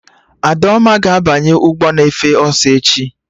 Adaoma ga-abanye ụgbọ na-efe ọsọ echi